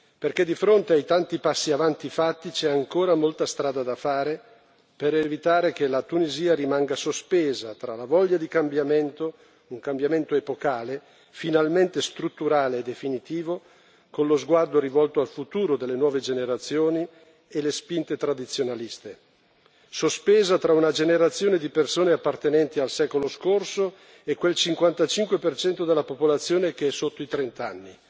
perché di fronte ai tanti passi avanti fatti c'è ancora molta strada da fare per evitare che la Tunisia rimanga sospesa tra la voglia di cambiamento un cambiamento epocale, finalmente strutturale e definitivo, con lo sguardo rivolto al futuro delle nuove generazioni e le spinte tradizionaliste, sospesa tra una generazione di persone appartenenti al secolo scorso e quel 55 della popolazione che è sotto i trent'anni,